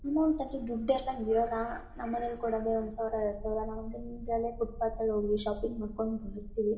ಇನ್ನೊಂದ್ ಕಡೆ ದುಡ್ಡುಲ್ಲ ಇರಲ್ಲ. ನಮ ಮನೆಲ್ಲಿ ಕೊಡೋದೇ ಒಂದು ಸಾವಿರ ಎರಡು ಸಾವಿರ. ನಾವ್ ಫುಟ್ಪಾತ್ತ್ ಅಲ್ಲಿ ಹೋದ್ವಿ. ಶಾಪಿಂಗ್ ಮಾಡ್ಕೊಂಡ್ ಬರ್ತಿವಿ.